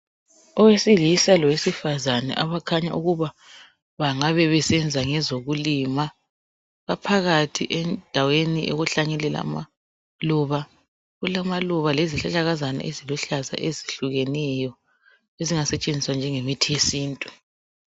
Owesilisa lwesifazana abakhanya ukuba bangabe besenza ngezokulima baphakathi endaweni yokuhlanyelela amaluba. Kulamaluba lezihlahlakazana eziluhlaza ezihlukeneyo ezingasetshenziswa njengemithi yesintu.